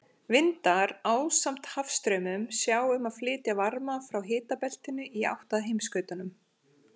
Vindar, ásamt hafstraumum, sjá um að flytja varma frá hitabeltinu í átt að heimsskautunum.